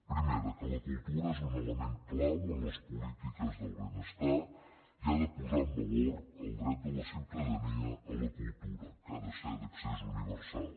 primera que la cultura és un element clau en les polítiques del benestar i ha de posar en valor el dret de la ciutadania a la cultura que ha de ser d’accés universal